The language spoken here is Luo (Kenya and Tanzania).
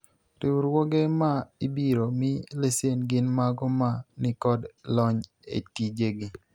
riwruoge ma ibiro mi lesen gin mago ma nikod lony e tije gi